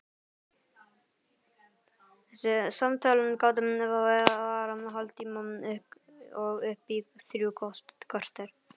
Þessi samtöl gátu varað hálftíma og upp í þrjú korter.